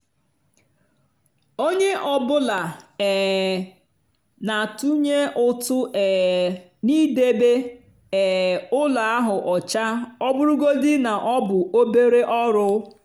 onye ọ bụla um na-atụnye ụtụ um n'idebe um ụlọ ahụ ọcha ọ bụrụgodị na ọ bụ obere ọrụ.